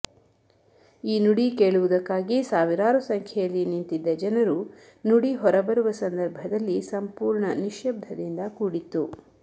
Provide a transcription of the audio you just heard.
ಈ ನುಡಿ ಕೇಳುವುದಕ್ಕಾಗಿ ಸಾವಿರಾರು ಸಂಖ್ಯೆಯಲ್ಲಿ ನಿಂತಿದ್ದ ಜನರು ನುಡಿ ಹೊರಬರುವ ಸಂದರ್ಭದಲ್ಲಿ ಸಂಪೂರ್ಣ ನಿಶ್ಯಬ್ಧದಿಂದ ಕೂಡಿತ್ತು